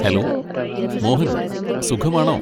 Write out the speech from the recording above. Hello Mohan, സുഖമാണോ?